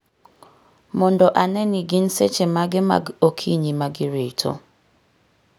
mondo ane ni gin seche mage mag okinyi ma girito.